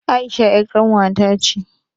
Aisha ƴar ƙanwa ta ce